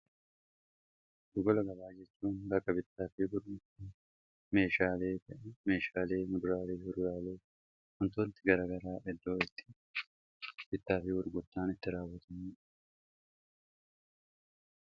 dhugola gabaayechuun baka bittaafii bur meeshaalii mibraalii hurraaluu huntootti garagaraa iddoo itti bittaafii burguttaan itti raawutan